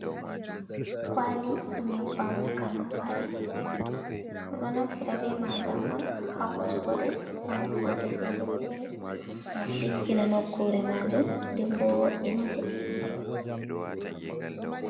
Kwali nyebbam kanun fari. Ɗo naftira bemajam on hawujugode hanokkuje fere fere, ngam diggina nokkure majum denbo wo'ina nde.